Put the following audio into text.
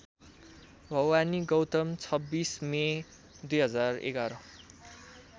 Bhawani Gautam २६ May २०११